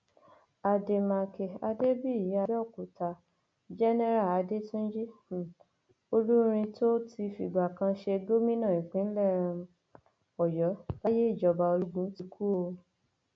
àdèmàkè adébíyí àbẹòkúta jẹnẹrà adẹtúnjì um olúrin tó ti fìgbà kan ṣe gómìnà ìpínlẹ um ọyọ láyé ìjọba ológun ti kú o